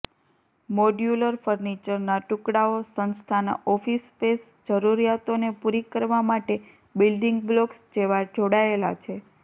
modular ફર્નિચરના ટુકડાઓ સંસ્થાના ઓફિસ સ્પેસ જરૂરિયાતોને પૂરી કરવા માટે બિલ્ડિંગ બ્લોક્સ જેવા જોડાયેલા છે